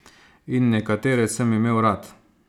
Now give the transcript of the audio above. In nekatere sem imel rad.